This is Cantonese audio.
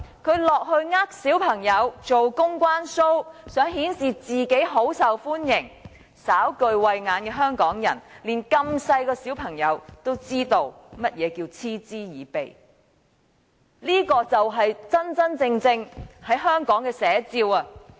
他落區欺騙小朋友，做"公關 show"， 想顯示自己很受歡迎，但稍具慧眼的香港人，以及年紀這麼小的小朋友也知道甚麼是嗤之以鼻，這就是香港的真實寫照。